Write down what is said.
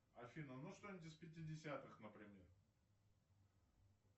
афина ну что нибудь из пятидесятых например